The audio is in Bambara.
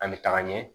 An bɛ taga ɲɛ